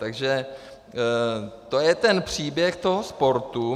Takže to je ten příběh toho sportu.